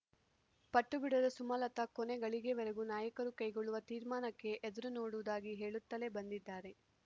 ಪಟ್ಟುಬಿಡದ ಸುಮಲತ ಕೊನೆಗಳಿಗೆವರೆಗೂ ನಾಯಕರು ಕೈಗೊಳ್ಳುವ ತೀರ್ಮಾನಕ್ಕೆ ಎದುರುನೋಡುವುದಾಗಿ ಹೇಳುತ್ತಲೇ ಬಂದಿದ್ದಾರೆ